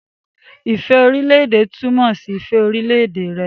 Ifẹ orilẹ-ede tumọ si ifẹ orilẹ-ede rẹ.